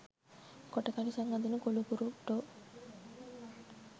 කොට කලිසම් අඳින කොලුකුරුට්ටෝ.